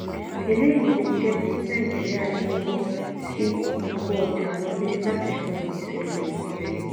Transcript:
eléyìí lè jẹ́ kí nàìjíríà náwó sí ìkó ọjà wọlé láti san gbèsè ilẹ̀ òkèèrè.